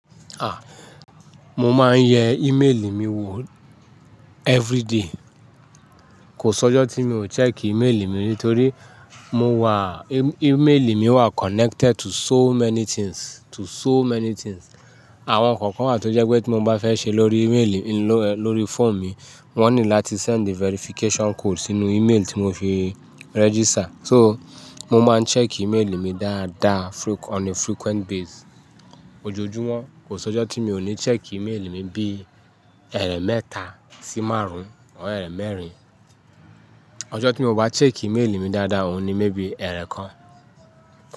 A! Mo máa ń yẹ email mi wò everyday. Kò sọ́jọ́ tí mi ò check email mi nítorí mo wà, email mi wà connected to so many things, to so many things. Àwọn kọ̀ọ̀kan wà tó jẹ́ pé tí mo bá fẹ́ ṣe lórí email mi ló, lórí phone mi, wọ́n need láti send verification code sínú email tí mo fi register. So mo máa ń check email mi dáadáa on a frequent base. Ojojúmọ́ kò sọ́jọ́ tí mi ò ní check email mi bíi ẹ̀mẹ́ta sí márùn or ẹ̀mẹ́rin. Ọjọ́ tí mi ò bá check email mi dáadáa òun ni mébi ẹ̀kan.